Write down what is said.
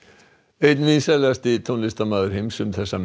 einn vinsælasti tónlistarmaður heims